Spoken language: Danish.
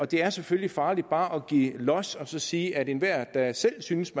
det er selvfølgelig farligt bare at give los og så sige at enhver der selv synes